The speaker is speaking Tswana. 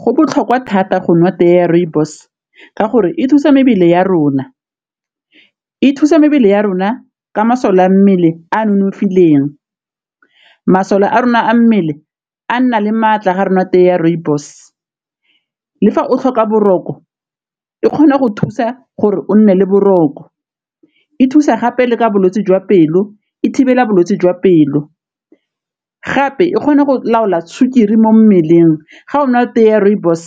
Go botlhokwa thata go nwa tee ya rooibos ka gore e thusa mebele ya rona, e thusa mebele ya rona ka masole a mmele a nonofileng, masole a rona a mmele a nna le maatla ga re nwa tee ya rooibos. Le fa o tlhoka boroko e kgona go thusa gore o nne le boroko, e thusa gape le ka bolwetse jwa pelo o e thibela bolwetse jwa pelo, gape e kgona go laola sukiri mo mmeleng ga o na o tee ya rooibos